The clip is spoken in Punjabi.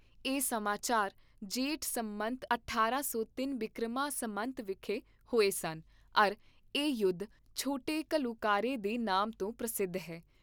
ਇਹ ਸਮਾਚਾਰ ਜੇਠ ਸੰਮਤ ਅਠਾਰਾਂ ਸੌ ਤਿੰਨ ਬਿਕਰਮਾ ਸੰਮਤ ਵਿਖੇ ਹੋਏ ਸਨ ਅਰ ਇਹ ਯੁੱਧ ' ਛੋਟੇ ਘੱਲੂਘਾਰੇ ' ਦੇ ਨਾਮ ਤੋਂ ਪ੍ਰਸਿੱਧ ਹੈ